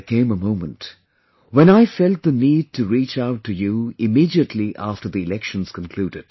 There came a moment when I felt the need to reach out to you immediately after the Elections concluded